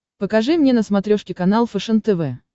покажи мне на смотрешке канал фэшен тв